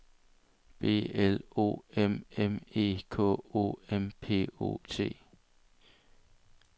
B L O M M E K O M P O T